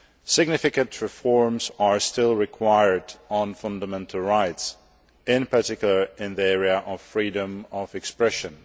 Significant reforms are still required on fundamental rights, in particular, in the area of freedom of expression.